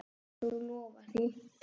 Þú lofar því?